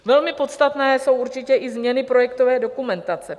Velmi podstatné jsou určitě i změny projektové dokumentace.